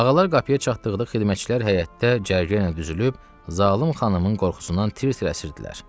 Ağalar qapıya çatdıqda xidmətçilər həyətdə cərgə ilə düzülüb zalım xanımın qorxusundan tir-tir əsirdilər.